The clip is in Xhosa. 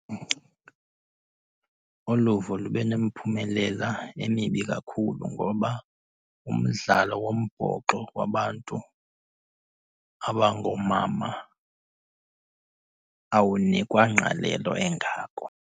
Uluvo lube nemiphumelela emibi kakhulu ngoba umdlalo wombhoxo wabantu abangoomama awunikwa ngqalelo engako.